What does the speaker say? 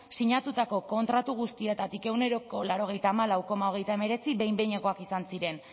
sinatutako kontratu guztietatik ehuneko laurogeita hamalau koma hogeita hemeretzi behin behinekoak izan ziren